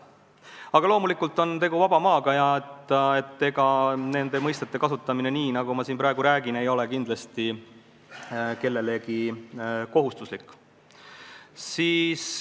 Aga loomulikult on tegu vaba maaga ja ega nende mõistete kasutamine nii, nagu ma siin praegu räägin, ei ole kindlasti kellelegi kohustuslik.